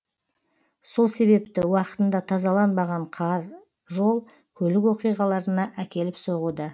сол себепті уақытында тазаланбаған қар жол көлік оқиғаларына әкеліп соғуда